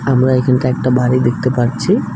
আমরা এখানটা একটা বাড়ি দেখতে পারছি।